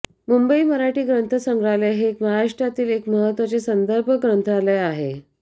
मुंबई मराठी ग्रंथसंग्रहालय हे महाराष्ट्रातील एक महत्त्वाचे संदर्भग्रंथालय आहे